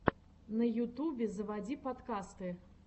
на ютубе заводи подкасты